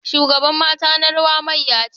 Shugaban mata na rawa mayya ce.